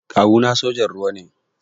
Kawu na sojan ruwa ne